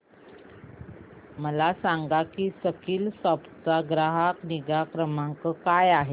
मला सांग की स्कीलसॉफ्ट चा ग्राहक निगा क्रमांक काय आहे